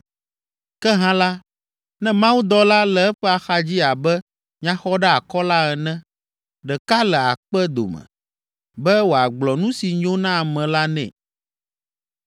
Ke hã la, ne Mawudɔla le eƒe axadzi abe nyaxɔɖeakɔla ene, ɖeka le akpe dome, be wòagblɔ nu si nyo na ame la nɛ,